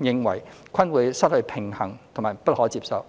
認為均有失平衡及不可接受。